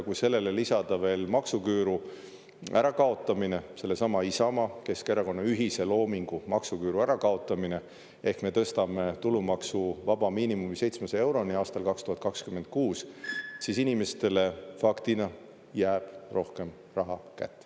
Kui sellele lisada veel maksuküüru ärakaotamine, sellesama Isamaa-Keskerakonna ühise loomingu, maksuküüru ärakaotamine ehk me tõstame tulumaksuvaba miinimumi 700 euroni aastal 2026, siis inimestele faktina jääb rohkem raha kätte.